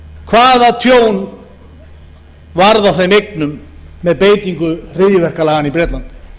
hvaða tjón varð af þeim eignum með beitingu hryðjuverkalaganna í bretlandi